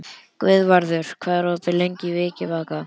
Guðvarður, hvað er opið lengi í Vikivaka?